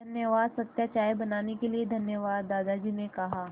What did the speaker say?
धन्यवाद सत्या चाय बनाने के लिए धन्यवाद दादाजी ने कहा